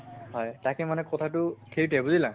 হয় তাকে মানে কথাটো সেইটোয়ে বুজিলা?